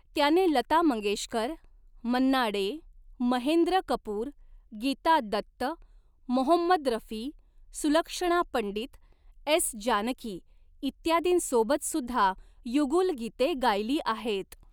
त्याने लता मंगेशकर, मन्ना डे, महेंद्र कपूर, गीता दत्त, मोहम्मद रफी, सुलक्षणा पंडित, एस. जानकी इत्यादींसोबत सुद्धा युगुल गीते गायली आहेत.